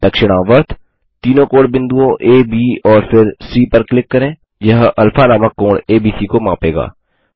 दक्षिणावर्त तीनों कोणबिंदुओं आ ब और फिर सी पर क्लिक करें यह अल्फा नामक कोण एबीसी को मापेगा